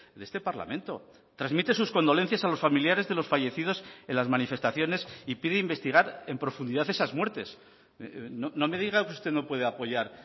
de este parlamento transmite sus condolencias a los familiares de los fallecidos en las manifestaciones y pide investigar en profundidad esas muertes no me diga que usted no puede apoyar